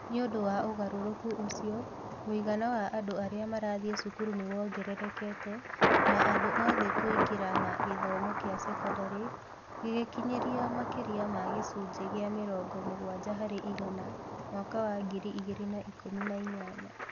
Nĩ ũndũ wa ũgarũrũku ũcio, mũigana wa andũ arĩa marathiĩ cukuru nĩ wongererekete na andũ othe kũingĩra na gĩthomo kĩa sekondarĩ gĩgĩkinyĩra makĩria ma gĩcunjĩ kĩa mĩrongo mũgwanja harĩ igana mwaka wa ngiri igĩrĩ na ikũmi na inyanya.